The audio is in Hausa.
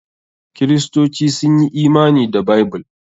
Kiristoci sun yi imani da Bible.